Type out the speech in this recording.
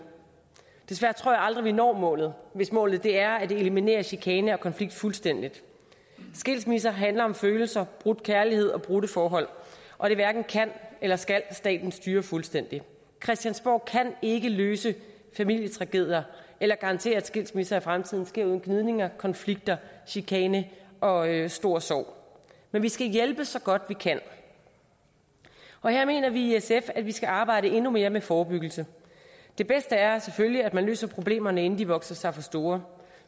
desværre tror aldrig når målet hvis målet er at eliminere chikane og konflikt fuldstændig skilsmisser handler om følelser brudt kærlighed og brudte forhold og det hverken kan eller skal staten styre fuldstændig christiansborg kan ikke løse familietragedier eller garantere at skilsmisser i fremtiden sker uden gnidninger konflikter chikane og stor sorg men vi skal hjælpe så godt vi kan og her mener vi i sf at vi skal arbejde endnu mere med forebyggelse det bedste er selvfølgelig at man løser problemerne inden de vokser sig for store